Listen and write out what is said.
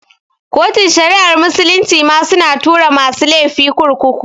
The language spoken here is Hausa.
Kotun shari'ar musulunci ma su na tura tura masu lefi kurkuku